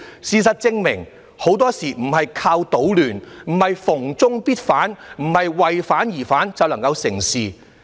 事實證明，很多事情並非靠搗亂，並非"逢中必反"，不是"為反而反"便能夠成事。